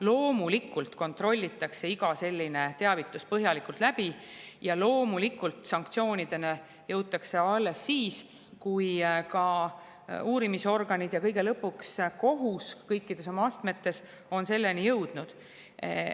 Loomulikult kontrollitakse igat sellist teavitust põhjalikult ning loomulikult jõutakse sanktsioonideni alles siis, kui kõik uurimisorganid ja kõige lõpuks kohus kõikides oma astmetes on selleni jõudnud.